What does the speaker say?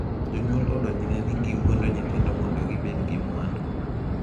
Jonyuol odonjne ni giwuondo nyithindo mondo gibed gi mwandu